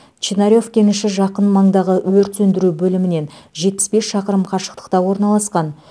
чинарев кеніші жақын маңдағы өрт сөндіру бөлімінен жетпіс бес шақырым қашықтықта орналасқан